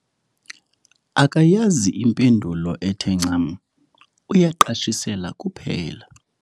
Akayazi impendulo ethe ncam, uyaqashisela kuphela.